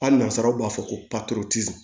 Hali nansaraw b'a fɔ ko